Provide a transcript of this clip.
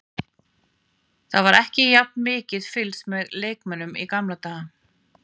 Það var ekki jafn mikið fylgst með leikmönnum í gamla daga.